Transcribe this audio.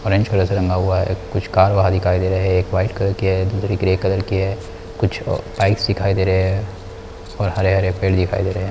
Orange colour से रंगा हुआ है कुछ कार वार दिखाई दे रहे है एक वाइट कलर की है दूसरी ग्रे कलर की है कुछ पाइप्स दिखाई दे रहे है और हरे-हरे पेड़ दिखाई दे रहे है।